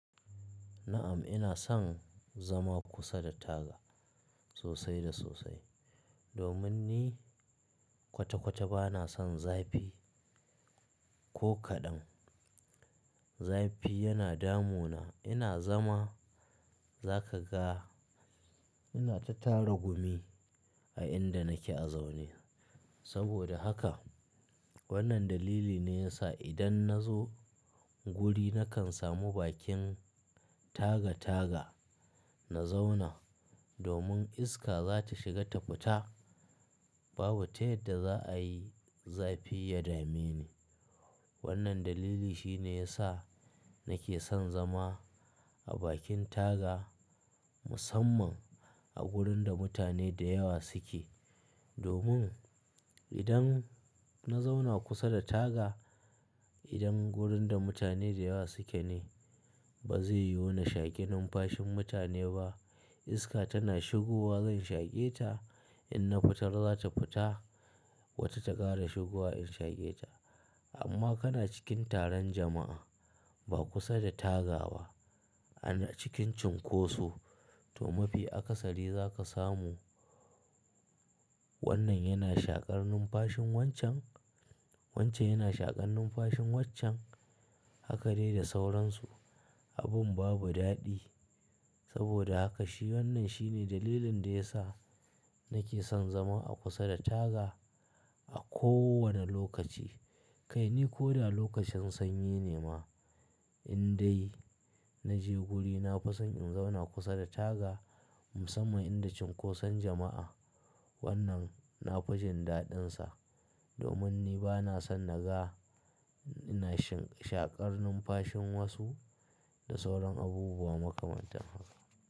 Na'am ina son zama kusa da taga sosai da sosai domin ni kwata kwata ba na son zafi ko kaɗan. Zafi yana damu na. Ina zama za ka ga ina ta tara gumi a inda nake a zaune. Saboda haka wannan dalili ne ya sa idan na zo guri na kan samu bakin taga taga na zauna domin iska za ta shiga ta fita. Babu ta yadda za a yi zafi ya dame ni. Wannan dalili shi ne ya sa nake son zama a bakin taga musamman a wurin da mutane da yawa suke. Domin idan na zauna kusa da taga, idan wurin da mutane da yawa suke ne ba zai yo na shaƙi numfashin mutane ba. Iska tana shigowa zan shaƙe ta in na fitar za ta fita. Wata ta ƙara shigowa in shaƙe ta. Amma kana cikin taron jama'a ba kusa da taga ba ana cikin cunkoso to mafi akasari za ka samu wannan yana shaƙar numfashin wancan. Wancan yana shaƙar numfashin wancen hakade da sauransu. Abin babu daɗi. Saboda haka shi wannan shi ne dalilin da ya sa nake son zama a kusa da taga a kowane lokaci. Kai ni ko da lokacin sanyi ne ma in dai na je guri na fi son in zauna kusa da taga musamman inda cunkoson jama'a wannan na faji daɗin sa. Domin ni ba na son naga ina shaƙar numfashin wasu da sauran abubuwa makamantan haka.